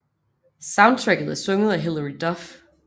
Soundtracket er sunget af Hilary Duff